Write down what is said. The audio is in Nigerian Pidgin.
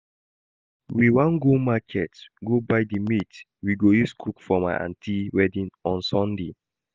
We wan go market go buy the meat we go use cook for my aunty wedding on Saturday